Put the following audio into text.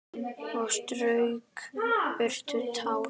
Og strauk burtu tár.